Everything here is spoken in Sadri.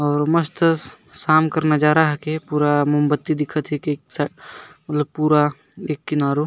और मस्त शाम कर नजारा हके पूरा मोमबत्ती दिखा थे के एक साइड मतलब एक पूरा एक किनारो--